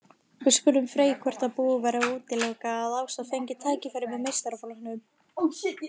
Við spurðum Frey hvort að búið væri að útiloka að Ása fengi tækifæri með meistaraflokknum.